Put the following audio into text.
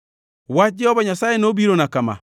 Wach Jehova Nyasaye nobirona kama: